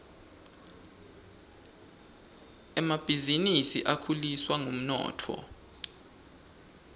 emabhisinisi akhuliswa ngumnotfo